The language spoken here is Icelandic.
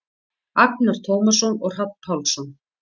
Agnar Tómasson og Hrafn Pálsson.